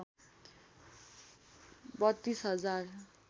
३२ हजार